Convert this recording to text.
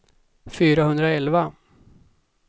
fyrahundraelva